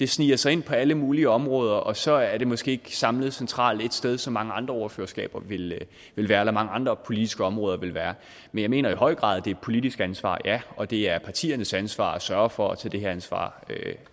sniger sig ind på alle mulige områder og så er det måske ikke samlet centralt ét sted som mange andre ordførerskaber ville være eller mange andre politiske områder ville være men jeg mener i høj grad at det et politisk ansvar ja og det er partiernes ansvar at sørge for at tage det her ansvar